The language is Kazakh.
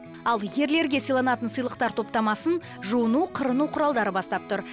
ал ерлерге сыйланатын сыйлықтар топтамасын жуыну қырыну кұралдары бастап тұр